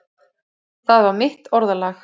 Það var mitt orðalag.